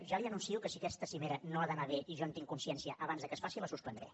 ja li anuncio que si aquesta cimera no ha d’anar bé i jo en tinc consciència abans que es faci la suspendré